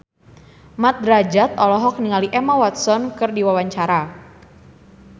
Mat Drajat olohok ningali Emma Watson keur diwawancara